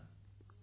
बिलकूल